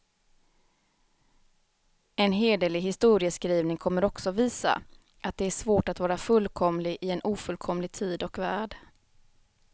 En hederlig historieskrivning kommer också visa, att det är svårt att vara fullkomlig i en ofullkomlig tid och värld.